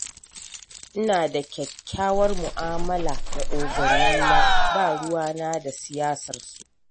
Ina da kyakkyawar mu'amala da ogannina, ba ruwana da siyasarsu.